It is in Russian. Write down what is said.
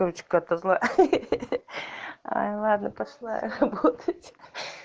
кать какая то ай ладно пошла я работать